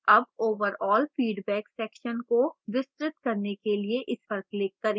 अब overall feedback section को विस्तृत करने के लिए इस पर click करें